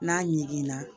N'a ɲiginna